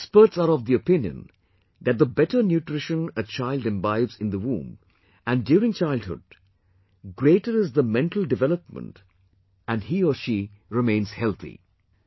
Experts are of the opinion that the better nutrition a child imbibes in the womb and during childhood, greater is the mental development and he/she remains healthy